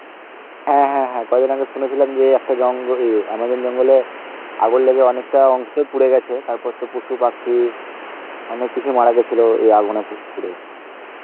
হ্যাঁ হ্যাঁ হ্যাঁ কদিন আগে সুনেছিলাম যে একটা জঙ্গ~ ওই amazon জঙ্গলে, আগুন লেগে অনেকটা অংশই পুড়ে গেছে, তার পর তো পশু পাখি, অনেক কিছুই মারা গেছিলো এই আগুনে পুড়ে